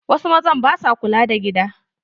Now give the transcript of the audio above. Wasu mazan ba sua kula da gida.